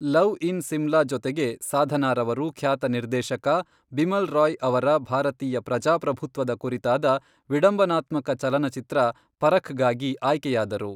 Love in Simla ಜೊತೆಗೆ, ಸಾಧನಾರವರು ಖ್ಯಾತ ನಿರ್ದೇಶಕ ಬಿಮಲ್ ರಾಯ್ ಅವರ ಭಾರತೀಯ ಪ್ರಜಾಪ್ರಭುತ್ವದ ಕುರಿತಾದ ವಿಡಂಬನಾತ್ಮಕ ಚಲನಚಿತ್ರ ಪರಖ್ಗಾಗಿ ಆಯ್ಕೆಯಾದರು.